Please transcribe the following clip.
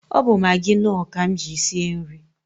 Ọ bụ Magị Nọọ ka m ji sie nri.